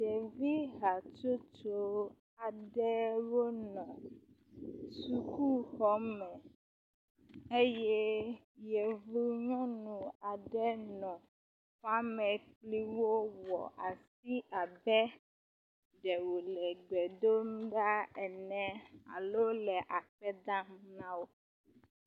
Ɖevi hatsotso aɖewo nɔ sukuxɔme eye yevu nyɔnu aɖe nɔ xɔame kpli wo wɔ asi abe ɖe wo le gbe dom ɖa ene alo le akpe dam na wo.